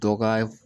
Dɔ ka